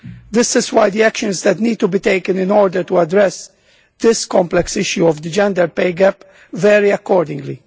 This is why the actions that need to be taken in order to address this complex issue of the gender pay gap vary accordingly.